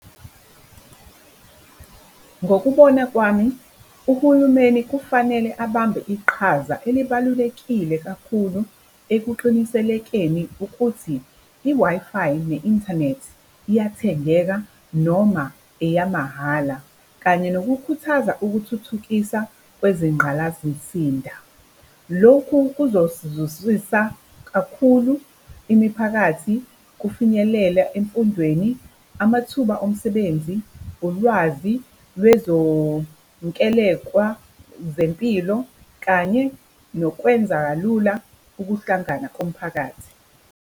Ngokubona kwami, uhulumeni kufanele abambe iqhaza elibalulekile kakhulu ekuqiniselekeni ukuthi i-Wi-Fi ne-inthanethi iyathengeka noma eyamahhala kanye nokukhuthaza ukuthuthukisa kwezingqalazisinda. Lokhu kuzosizwisisa kakhulu imiphakathi kufinyelela emfundweni, amathuba omsebenzi, ulwazi lwezonkelekwa zempilo kanye nokwenza kalula ukuhlangana komphakathi.